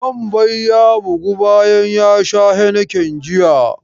Wambai ya bygu bayan ya sha heineken jiya.